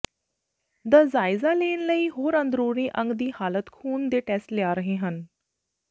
ਦਾ ਜਾਇਜ਼ਾ ਕਰਨ ਲਈ ਹੋਰ ਅੰਦਰੂਨੀ ਅੰਗ ਦੀ ਹਾਲਤ ਖ਼ੂਨ ਦੇ ਟੈਸਟ ਲਿਆ ਰਹੇ ਹਨ